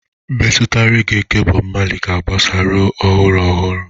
Mmetụta reggae nke Bob Marley ga-agbasa ruo ọhụụ ọhụrụ.